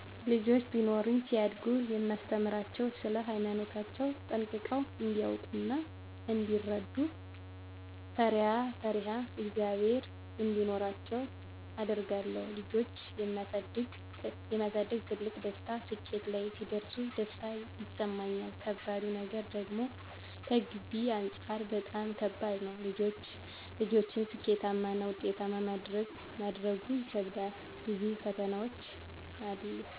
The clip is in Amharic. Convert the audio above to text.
ልጆች ቢኖሩኝ ሲያድጉ የማስተምራቸዉ ስለ ሃይማኖታቸዉ ጠንቅቀዉ እንዲያዉቁ እና እንዲረዱ፣ ፈሪአ ፈሪሃ እግዝአብሔር እንዲኖራቸዉ አደርጋለሁ ልጆች የማሳደግ ትልቁ ደስታ ስኬት ላይ ሲደርሱ ደስታ ይሰማኛል ከባዱ ነገር ደግሞከገቢ አንፃር በጣም ከባድ ነዉ ልጆችን ስኬታማና ዉጤታማ ማድረጉ ይከብዳል ብዙ ፈተናዎች አሉ